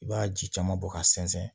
I b'a ji caman bɔ k'a sɛnsɛn